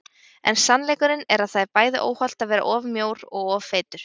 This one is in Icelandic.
En sannleikurinn er að það er bæði óhollt að vera of mjór og of feitur.